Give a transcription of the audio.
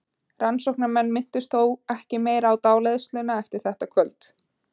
Rannsóknarmenn minntust þó ekki meira á dáleiðsluna eftir þetta kvöld.